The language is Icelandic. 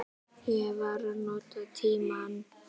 Ég var að nota tímann.